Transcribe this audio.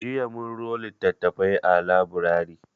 Jiya mun ro littattafai a laburari.